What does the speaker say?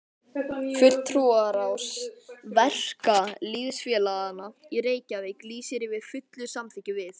FULLTRÚARÁÐS VERKALÝÐSFÉLAGANNA Í REYKJAVÍK LÝSIR YFIR FULLU SAMÞYKKI VIÐ